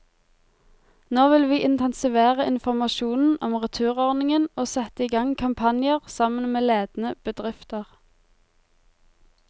Nå vil vi intensivere informasjonen om returordningen og sette i gang kampanjer, sammen med ledende bedrifter.